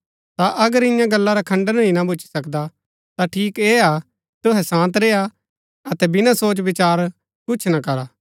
ता अगर इन्या गल्ला रा खण्डन ही ना भूच्ची सकदा ता ठीक ऐह हा कि तुहै शान्त रेय्आ अतै बिनासोचविचार कुछ ना करा